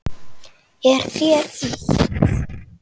Er þér illt?